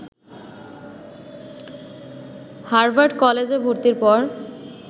Harvard কলেজে ভর্তির পর